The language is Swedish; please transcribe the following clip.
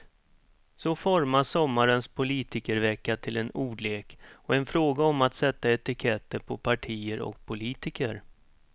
Så formas sommarens politikervecka till en ordlek och en fråga om att sätta etiketter på partier och politiker.